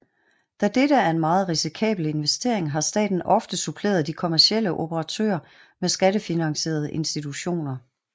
Da dette er en meget risikabel investering har staten ofte suppleret de kommercielle operatører med skattefinansierede institutioner